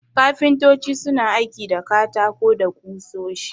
Kafintoci suna aiki da katako da ƙusoshi.